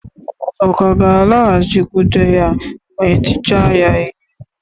Ọ̀ ka ga-alaghachikwute ya ma e tichaa ya ihe?